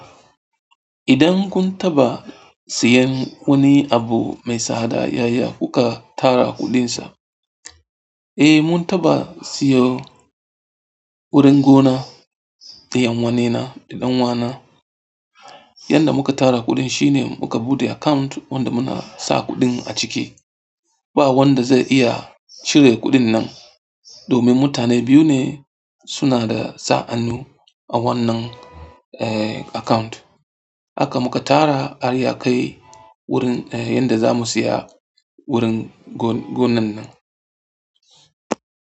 Idan kun taɓa siyan wani abu mai tsada yaya kuka tara kuɗinsa? Eh, mun taɓa siyo wurin gona da yan wanena da ɗan uwana. Yanda muka tara kuɗin shine muka buɗe account wanda muna sa kuɗin a ciki. Ba wanda zai iya cire kuɗin nan domin mutane biyu ne suna da sa'annu a wannan, eh, account. Haka muka tara har ya kai wurin, eh, yanda za mu saya wurin gon- gonan nan.